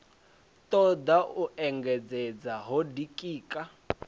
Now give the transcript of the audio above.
toda u engedzedza ho ditika